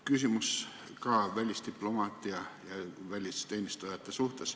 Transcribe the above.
Küsimus ka välisdiplomaatia ja välisteenistujate kohta.